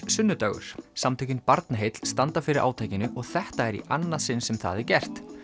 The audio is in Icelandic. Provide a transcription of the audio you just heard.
sunnudagur samtökin Barnaheill standa fyrir átakinu og þetta er í annað sinn sem það er gert